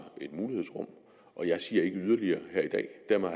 et mulighedsrum og jeg siger ikke yderligere her i dag dermed